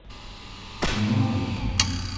не убей